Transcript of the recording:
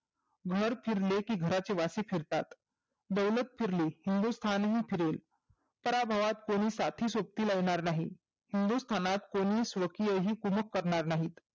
घर फिरले की घराचे वासे फिरतात. दौलत फिरले हिंदुस्थानही फिरेल. उत्तराभावात कोणी साथी सोबतीला येणार नाही. हिंदुस्थानात कोणी स्वकीय करणार नाहीत.